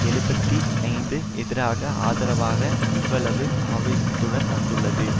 எழுபத்தி ஐந்து எதிராக ஆதரவாக இவ்வளவு ஆவேசத்துடன் வந்துள்ளது